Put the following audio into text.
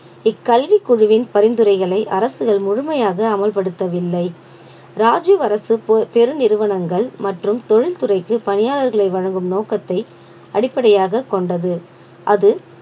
இக்கல்விக் குழுவின் பரிந்துரைகளை அரசுகள் முழுமையாக அமல்படுத்தவில்லை ராஜீவ் அரசு பொ~ பேரு நிறுவனங்கள் மற்றும் தொழில்துறைக்கு பணியாளர்களை வழங்கும் நோக்கத்தை அடிப்படையாகக் கொண்டது அது